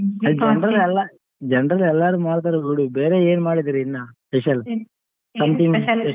generally ಲೆಲ್ಲರು ಮಾಡ್ತರೆ ಬಿಡು ಬೇರೇ ಏನ್ ಮಾಡಿದಿರಿ ಇನ್ನಾ special ಉ